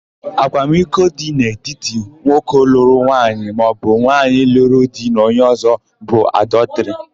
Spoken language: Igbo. Akwamiko dị n'etiti nwoke lụrụ nwunye maọbụ nwaanyị luru di na onye ọ̀zọ́ bụ adọtịrị.